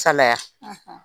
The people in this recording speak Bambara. Salaya